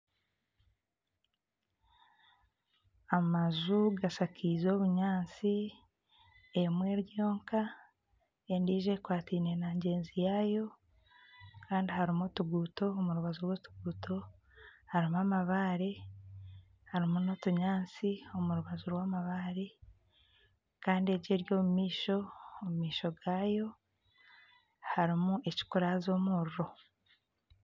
Amaju gashakaize obunyaatsi emwe eri yooka endiijo ekwataine na ngyenzi yaayo kandi harimu otuguuto, omu rubaju rw'otuguuto harimu amabaare harimu nana otunyaatsi omu rubaju rwamabaare kandi egyo eri omu maisho omu maisho gaayo harimu ekikuraaza omuriro